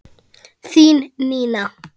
Þín Nína.